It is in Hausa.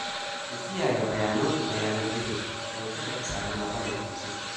Ku kiyaye bayananku na yanar gizo don kada ku samu matsalar kutse